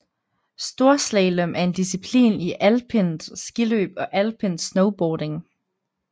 Storslalom er en disciplin i alpint skiløb og alpint snowboarding